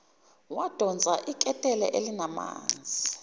wadonsa iketela elinamanzi